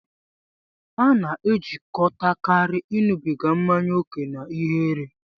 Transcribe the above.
A na-ejikọtakarị ịṅụbiga mmanya ókè na ihere.